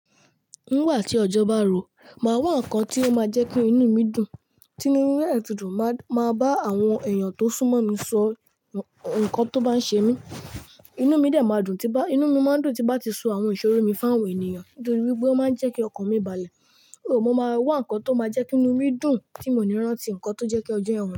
Nígbà tí ọjọ́ bá ro, màá wá ǹkan tí ó máa jẹ́ kí inú mi dùn. Tínú mi ba dẹ ti dùn, màá, màá bá àwọn èèyàn tó súnmọ́ mi sọ nǹkan tó bá ń ṣe mí. Inú mi dè máa dùn tí n bá, inú mi máa ń dùn tí n bá ti so àwọn ìṣòro mi fàwọn ènìyàn nítorí wípé ó máa ń jẹ́ kí ọkàn mi balẹ̀. Óò, mo máa wá ǹkan tó máa jẹ́ kí inú mi dùn tí mò ní rántí ǹkan tó jẹ́ kí ojú yẹ̀n ọ̀n.